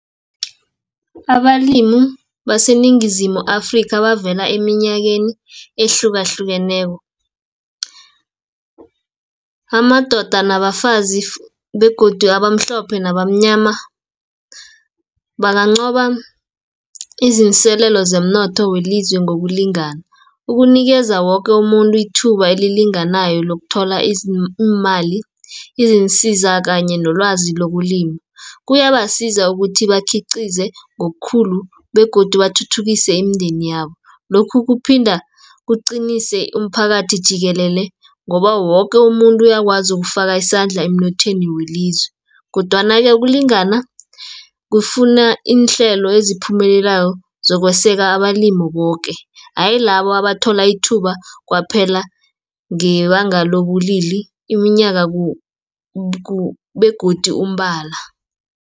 Abalimu baseNingizimu Afrikha, abavela eminyakeni ehlukahlukeneko, amadoda, nabafazi, begodu abamhlophe nabamnyama, banganqoba iziinselelo zomnotho welizwe ngokulingana. Ukunikeza woke umuntu ithuba elilinganayo lokuthola iimali, iziinsiza kanye nolwazi lokulima. Kuyabasiza ukuthi bakhiqize ngokhulu, begodu bathuthukise imindeni yabo. Lokhu kuphinda kuqinise umphakathi jikelele, ngoba woke umuntu uyakwazi ukufaka isandla emnothweni welizwe, kodwana-ke ukulingana, kufuna iinhlelo esiphumelelako zokweseka abalimi boke, hayi labo abathola ithuba kwaphela ngebanga lobulili, iminyaka, begodi umbala.